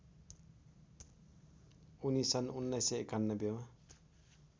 उनी सन् १९९१ मा